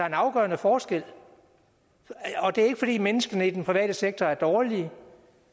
en afgørende forskel det er ikke fordi menneskene i den private sektor er dårlige